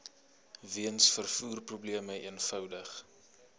weens vervoerprobleme eenvoudig